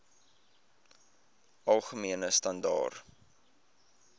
algemene standaar